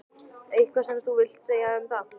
Eitthvað sem þú vilt segja um það?